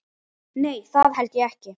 Nei, held ekki.